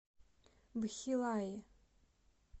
бхилаи